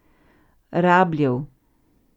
Rabljev.